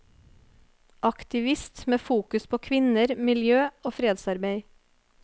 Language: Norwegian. Aktivist med fokus på kvinner, miljø og fredsarbeid.